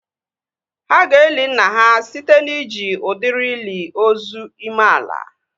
Ha ga-eli nna ha site na iji udiri ili ozu ime ala